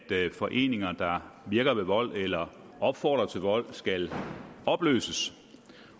foreninger der virker ved vold eller opfordrer til vold skal opløses